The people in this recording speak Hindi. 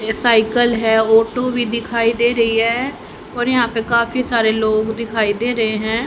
यह सायकल है ऑटो भी दिखाई दे रही है और यहां पर काफी सारे लोग दिखाई दे रहे हैं।